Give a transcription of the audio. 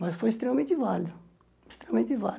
Mas foi extremamente válido, extremamente válido.